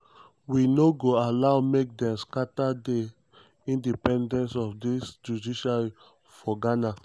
"we no go allow make dem scatter di independence of di judiciary for ghana.